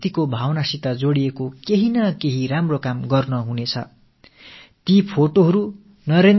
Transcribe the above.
தேசபக்தி என்ற கருத்தூக்கத்தோடு இணைந்து நாம் ஏதோ ஒரு ஆக்கப்பூர்வமான விஷயத்தை செய்ய வேண்டும் என்று நான் விரும்புகிறேன்